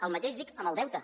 el mateix dic amb el deute